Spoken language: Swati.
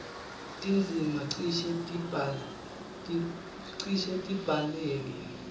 tindzima cishe tibhaleke